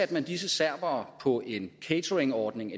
disse serbere på en cateringordning